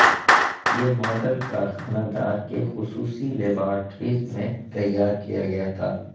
یہ ماڈل کارخانہ دار کے خصوصی لیبارٹریز میں تیار کیا گیا تھا